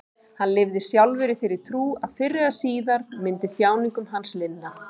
Hann lifði sjálfur í þeirri trú að fyrr eða síðar myndi þjáningum hans linna.